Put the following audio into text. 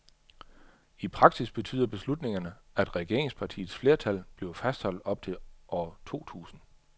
I praksis betyder beslutningerne, at regeringspartiets flertal bliver fastholdt op til år to tusind.